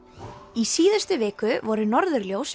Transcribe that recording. í síðustu viku voru norðurljós